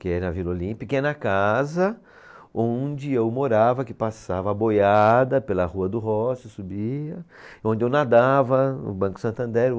que é na Vila Olímpia, que é na casa onde eu morava, que passava a boiada pela Rua do Rocio, subia, onde eu nadava, o Banco Santander.